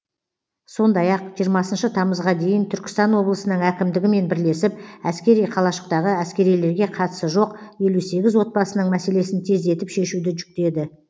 сондай ақ жиырмасыншы тамызға дейін түркістан облысының әкімдігімен бірлесіп әскери қалашықтағы әскерилерге қатысы жоқ елу сегіз отбасының мәселесін тездетіп шешуді жүктеді